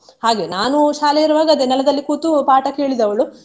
ಹಾಗೆ ನಾನು ಶಾಲೆ ಇರುವಾಗ ಅದೇ ನೆಲದಲ್ಲಿ ಕೂತು ಪಾಠ ಕೇಳಿದವಳು.